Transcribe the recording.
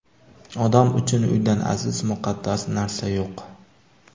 Odam uchun uydan aziz, muqaddas narsa yo‘q.